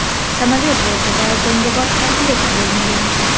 Samolyot bortida jangovar komplekt bo‘lmagan.